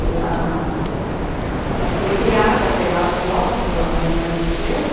Ela eh foi criada pela avó, porque a mãe faleceu, né?